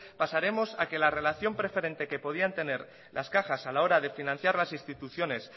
pasaremos a que la relación preferente que podían tener las cajas a la hora de financiar las instituciones